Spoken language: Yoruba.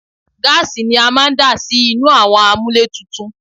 Gáàsì ni a máa ń dà sínú àwọn àmúlétuntun